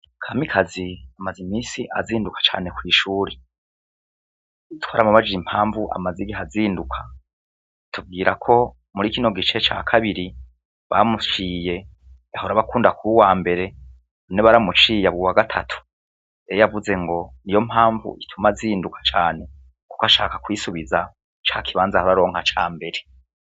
Kamikazi amaze imisi azinduka cane kw'ishuri twaramubajire impamvu amazi igiha azinduka tubwira ko muri ikino gice ca kabiri bamuciye yahora abakunda kubu wa mbere une baramuciye abuwa gatatu eyo yavuze ngo ni yo mpamvu ituma azinduka cane ko ashaka kwisubiza ca kibanza hararonka ca mbere.